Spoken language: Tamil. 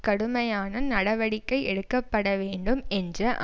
கடுமையான நடவடிக்கை எடுக்க பட வேண்டும் என்ற